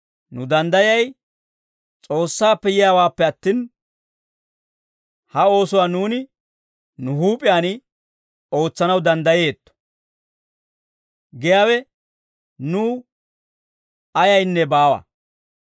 Nu danddayay S'oossaappe yiyaawaappe attin, ha oosuwaa nuuni nu huup'iyaan ootsanaw danddayeetto giyaawe nuw ayaynne baawa.